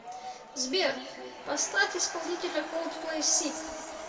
сбер поставь исполнителя колдплей сиб